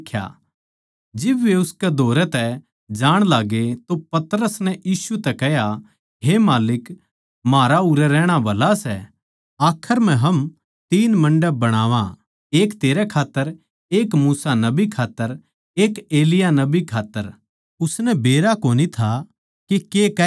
जिब वे उसकै धोरै तै जाण लाग्गे तो पतरस नै यीशु तै कह्या हे माल्लिक म्हारा उरै रहणा भला सै आखर म्ह हम तीन मण्डप बणावा एक तेरै खात्तर एक मूसा नबी खात्तर एक एलिय्याह नबी कै खात्तर उसनै बेरा कोनी था के कह के रह्या सै